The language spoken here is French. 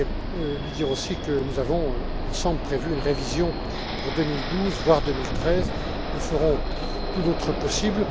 Je tiens à lui dire aussi que nous avons, ensemble, prévu une révision pour 2012, voire 2013 nous ferons tout notre possible.